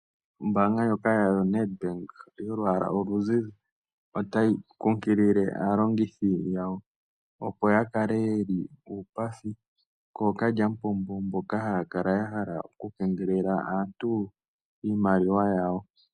Ombanga ndjoka yo Ned Bank yolwaala oluzizi, otayi kunkilile aalongithi yawo, opo ya kale yeli uupathi kookalyamupombo mboka haya kala ya hala oku keengelela aantu iimaliwa yawo.